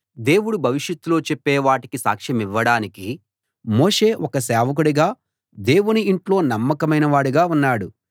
దేవుడు భవిష్యత్తులో చెప్పే వాటికి సాక్షమివ్వడానికి మోషే ఒక సేవకుడిగా దేవుని ఇంట్లో నమ్మకమైనవాడుగా ఉన్నాడు